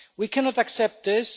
We cannot accept this.